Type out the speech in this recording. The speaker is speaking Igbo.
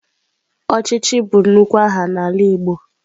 Ọchịchị bụ nnukwu aha n'ala igbo.